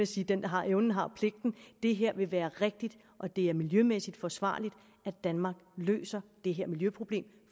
sige dem der har evnen har pligten det her vil være rigtigt og det er miljømæssigt forsvarligt at danmark løser det her miljøproblem